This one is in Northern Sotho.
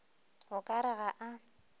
o ka re ga a